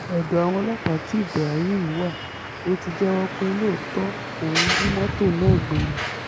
ọ̀dọ̀ àwọn ọlọ́pàá tí ibrahim wá ló ti jẹ́wọ́ pé lóòótọ́ òun jí mọ́tò náà gbé ni